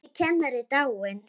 Bjössi kennari er dáinn.